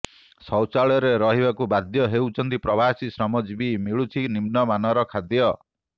ଶୌଚାଳୟରେ ରହିବାକୁ ବାଧ୍ୟ ହେଉଛନ୍ତି ପ୍ରବାସୀ ଶ୍ରମଜୀବୀ ମିଳୁଛି ନିମ୍ନମାନର ଖାଦ୍ୟ